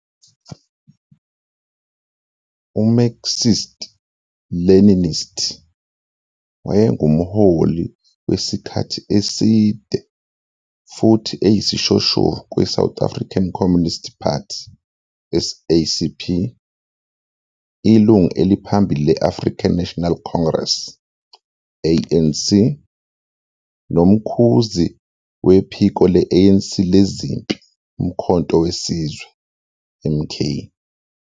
UMarxist-Leninist, wayengumholi wesikhathi eside futhi eyisishoshovu kwiSouth African Communist Party, SACP, ilungu eliphambili le-African National Congress, ANC, nomkhuzi wephiko le-ANC lezempi uMkhonto weSizwe, MK.